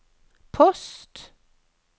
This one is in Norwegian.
post